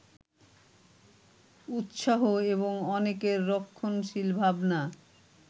উৎসাহ এবং অনেকের রক্ষণশীল ভাবনা